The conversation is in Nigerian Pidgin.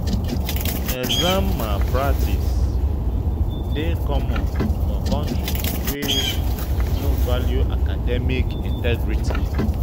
Exam malpractice dey common for countries wey no value academic integrity